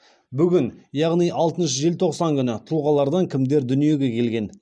бүгін яғни алтыншы желтоқсан күні тұлғалардан кімдер дүниеге келген